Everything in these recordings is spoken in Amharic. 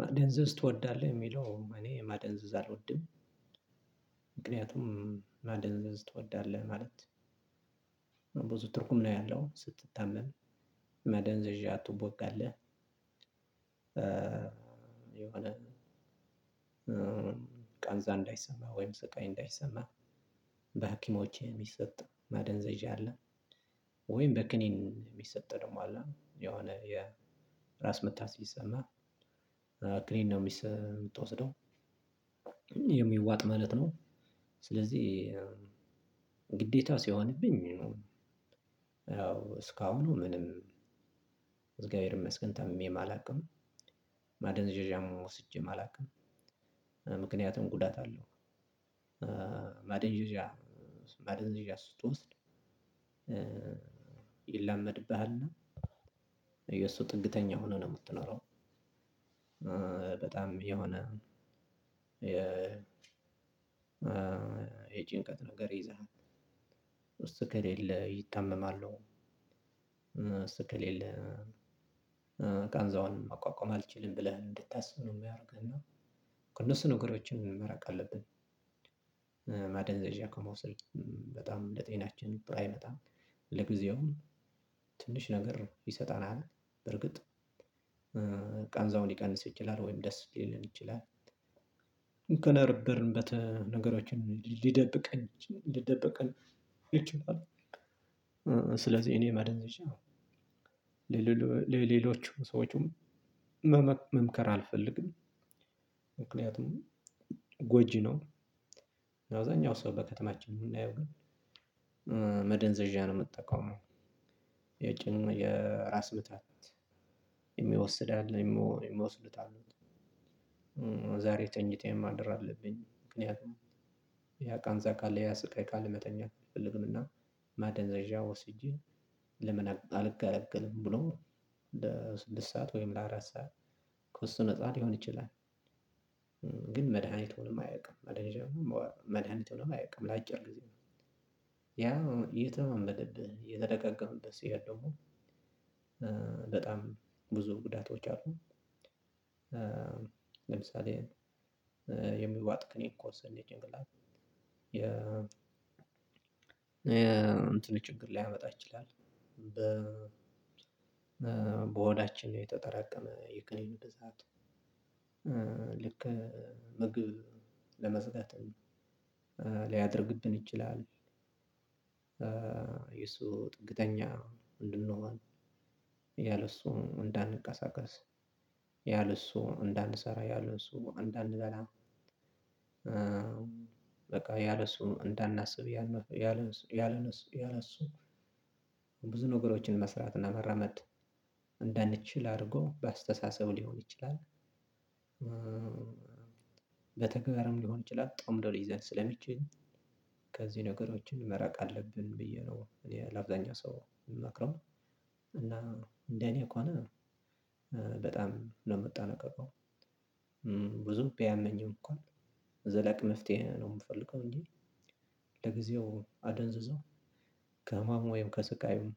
ማደንዘዝ ትወዳለህ የሚለው እኔ ማደንዘዝ አልወድም። ምክንያቱም ማደንዘዝ ትወዳለህ የሚለው ብዙ ትርጉም ነው ያለው ስትተመን መደንዘዣ ትወጋለህ። የሆነ ቃንዛ እንዳይሰማ ወይም ስቃይ እንዳይሰማህ በሀኪሞች የሚሰጥ ማደንዘዣ አለ። ወይም በክኒን የሚሰጠው ደግሞ አለ የሆነ የራስ ምታት ሲሰማህ ክኒን ነው የምትወስደው የሚዋጥ ማለት ነው። ስለዚህ ግዴታ ሲሆንብኝ ነው። ያው እስካሁን ምንም እዝገቤር ይመስገን ታምሜም አላውቅም። ማደንዘዣም ወስጄ አላውቅም። ምክንያቱም ጉዳት አለው። ማደንዘዣ ማደንዘዣ ስትወስድ ይላመድብሃል የሱ ጥግተኛ ሁነህ ነው የምትኖረው። በጣም የሆነ የ የጭንቀት ነገር ይዝሃል። እሱ ከሌለ ይታመማሉ እሱ ከሌለ ቃንዛውን መቋቋም አልችልም ብለህ እንድታስብ ነው ሚያደርግህ እና ከነሱ ነገሮችን መራቅ አለብህ። ማደንዘዣ ከመውሰድ በጣም ለጤናችን ጥሩ አይመጣም። ለጊዜውም ትንሽ ነገር ይሰጠናል። በርግጥ ቃንዛውን ሊቀንስ ይችላል ወይም ደስ ሊለን ይችላል። እከነበርንበት ነገሮችን ሊደብቀን ሊደብቀን ይችላል። ስለዚህ እኔ ማደንዘዣ ለሌሎቹ ሰዎችም መምከር አልፈልግም። ምክንያቱም ጎጂ ነው። አብዛኛው ሰው በከተማችን የምናየው ግን መደንዘዣ ነው የሚጠቀመው። የጭን የራስ ምታት የሚወስድ ያለ የሚወስዱት አሉት። ዛሬ ተኝቴ ማደር አለብኝ ምክንያቱም ያ ቃንዛ ካለ ያ ስቃይ ካለ መተኛት አልፈልግምና። ማደንዘዣ ወስጄ ለመን አልገላገልም ብሎ ለስድስት ሰዓት ወይም ለአራት ሰዓት ከእሱ ነፃ ሊሆን ይችላል። ግን መድሃኒት ሆኖ አያውቅም። መድሃኒት ተብሎም አያውቅም ለአጭር ጊዜ ነው። ያው የተለማመደብህ እየተደጋገምበት ሲሄድ ደግሞ በጣም ብዙ ጉዳቶች አሉ። ለምሳሌ የሚዋጥ ክኒክ ከወሰድን የጭንቅላት የ የእንትኑ ችግር ሊያመጣ ይችላል። በ በሆዳችን የተጠራቀመ የክኒኑ ብዛት ልክ ምግብ ለመዝጋት ሊያደርግብን ይችላል። የሱ ጥግተኛ እንድንሆን ያለሱ እንዳንንቀሳቀስያለሱ እንዳንሰራ ያለሱ እንዳንበላ። በቃ ያለሱ እንዳናስብ ያለሱ ያለሱ ያለነሱ ያለእሱ ብዙ ነገሮችን መስራትና መራመድ እንዳንችል አድርጎ በአስተሳሰብ ሊሆን ይችላል። በተግባርም ሊሆን ይችላል ጠምዶ ሊይዘን ስለሚችል ከዚህ ነገሮችን መራቅ አለብን ብዬ ነው እኔ ለአብዛኛው ሰው እምመክረው። እና እንደኔ ከሆነ በጣም ነው የምጠነቀቀው። ብዙም ቢያመኝም እንኳ ዘላቂ መፍትሄ ነው የምፈልገው እንጂ ለጊዜው አደንዝዞ ከህማም ወይም ከስቃዩም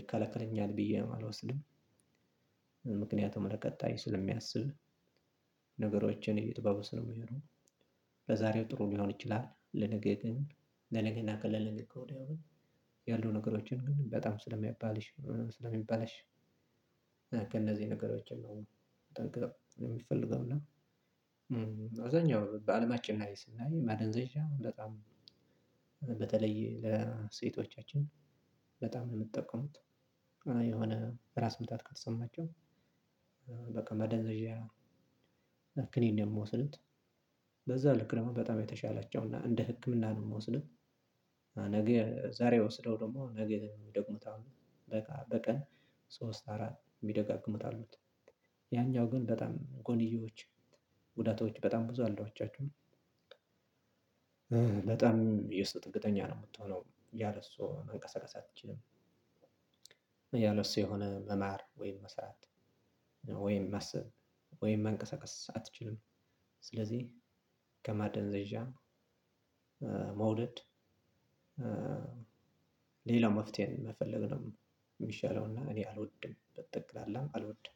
ይከለከለኛል ብዬ አልወስድም። ምክንያቱም ለቀጣይ ስለሚያስብ ነገሮችን እየጠበበ ስለሚሄዱ። በዛሬው ጥሩ ሊሆን ይችላል ለነገ ግን ለነገ እና ከለነገወዲያው ግን ያሉ ነገሮችን ግን በጣም ስለሚባልሽ ስለሚበላሽ። እነዚህ ነገሮችን ነው የሚፈልገው እና አዛኛው በአለማችን ላይ ስናየው ማደንዘዣው በጣም በተለይ ለሴቶቻችን በጣም ነው የምጠቀሙት። የሆነ ራስ ምታት ከተሰማቸው በቃ መደንዘዣ ክኒን የሚወስዱት። በዛ ልክ ደሞ በጣም የተሻላቸውና እንደ ህክምና ነው የምወስደው። ነገ ዛሬ ወስደው ደግሞ ነገር የሚደግሙት አሉ በቃ በቀን ሶስት አራት የሚደጋግሙት አሉት። ያኛው ግን በጣም ጎንዲዮዎች ጉዳቶች በጣም ብዙ አሉ አዋጫችሁን በጣም የሰው ጥገኛ ነው የምትሆነው ያለ ሰው መንቀሳቀስ አትችልም። ያለው እሱ የሆነ መማር ወይም መስራት ወይም ማሰብ ወይም መንቀሳቀስ አትችልም። ስለዚህ ከማደንዘዣ መውለድ ሌላ መፍትሄ ነው የምፈልግ ነው። የሚሻለውና እኔ አልወድም በጠቅላላም አልወድም።